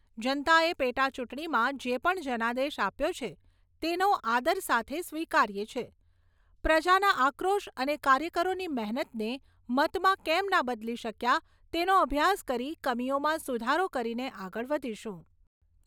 જનતાએ પેટા ચૂંટણીમાં જે પણ જનાદેશ આપ્યો છે તેનો આદર સાથે સ્વીકારીએ છીએ, પ્રજાના આક્રોશ અને કાર્યકરોની મહેનતને મતમાં કેમ ના બદલી શક્યા તેનો અભ્યાસ કરી કમીઓમાં સુધારો કરીને આગળ વધીશું.